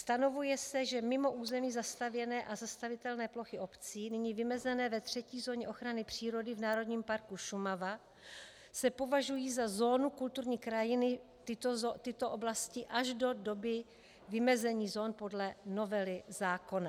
Stanovuje se, že mimo území zastavěné a zastavitelné plochy obcí, nyní vymezené ve třetí zóně ochrany přírody v Národním parku Šumava, se považují za zónu kulturní krajiny tyto oblasti až do doby vymezení zón podle novely zákona.